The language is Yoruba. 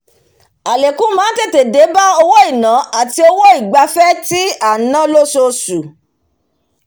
àlékún máá tètè dẹ́ba owó iná àti owó ìgbafẹ́ tí à n san lósoosu